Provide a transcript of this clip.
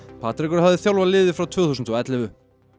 Patrekur hafði þjálfað liðið frá tvö þúsund og ellefu